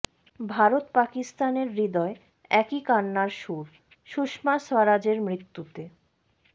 ভারত পাকিস্তানের হৃদয়ে একই কান্নার সুর সুষমা স্বরাজের মৃত্যুতে